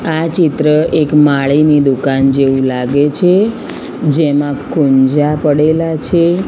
આ ચિત્ર એક માળીની દુકાન જેવુ લાગે છે જેમા કુંજા પડેલા છે.